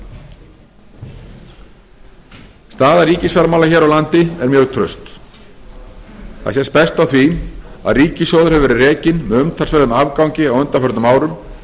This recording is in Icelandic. annars staðar staða ríkisfjármála hér á landi er mjög traust það sést best á því að ríkissjóður hefur verið rekinn með umtalsverðum afgangi á undanförnum árum